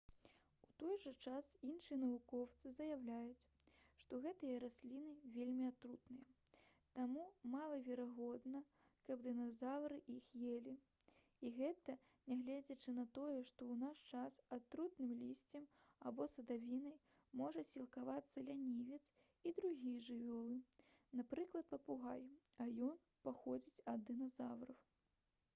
у той жа час іншыя навукоўцы заяўляюць што гэтыя расліны вельмі атрутныя таму малаверагодна каб дыназаўры іх елі. і гэта нягледзячы на тое што ў наш час атрутным лісцем або садавіной можа сілкавацца лянівец і другія жывёлы напрыклад папугай а ён паходзіць ад дыназаўраў